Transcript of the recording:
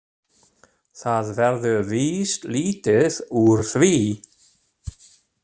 Það verður víst lítið úr því.